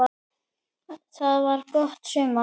Það var gott sumar.